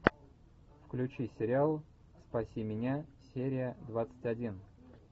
включи сериал спаси меня серия двадцать один